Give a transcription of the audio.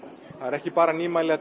það eru ekki bara nýmæli að